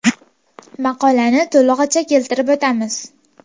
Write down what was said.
Maqolani to‘lig‘icha keltirib o‘tamiz.